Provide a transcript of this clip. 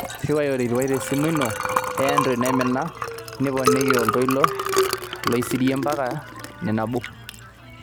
riwai olkilikuai tesimu ino e android naimina niponiki oltoilo loisirie mpaka iip nabo